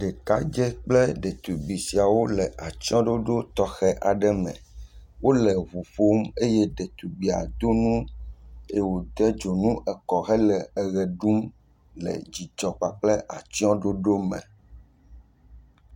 Ɖekadze kple ɖetugbui sia le atsɔ̃ɖoɖo tɔxɛ aɖe me. Wole ŋu ƒom eye ɖetugbui do nu eye wòde dzonu kɔ hele eʋe ɖum le dzidzɔ kple atsɔ̃ɖoɖo me